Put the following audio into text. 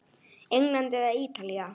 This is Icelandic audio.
England eða Ítalía?